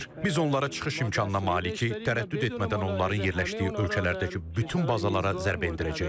Biz onlara çıxış imkanına malik, tərəddüd etmədən onların yerləşdiyi ölkələrdəki bütün bazalara zərbə endirəcəyik.